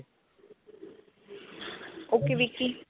ok. Vicky.